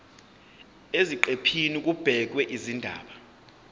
eziqephini kubhekwe izindaba